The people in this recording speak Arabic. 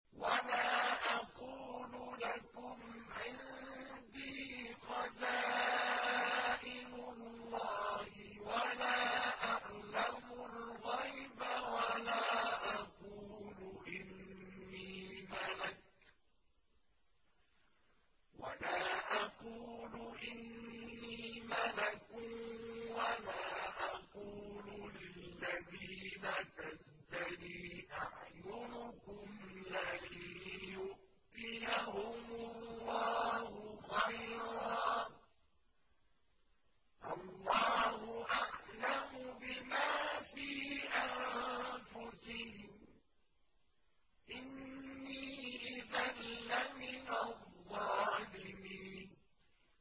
وَلَا أَقُولُ لَكُمْ عِندِي خَزَائِنُ اللَّهِ وَلَا أَعْلَمُ الْغَيْبَ وَلَا أَقُولُ إِنِّي مَلَكٌ وَلَا أَقُولُ لِلَّذِينَ تَزْدَرِي أَعْيُنُكُمْ لَن يُؤْتِيَهُمُ اللَّهُ خَيْرًا ۖ اللَّهُ أَعْلَمُ بِمَا فِي أَنفُسِهِمْ ۖ إِنِّي إِذًا لَّمِنَ الظَّالِمِينَ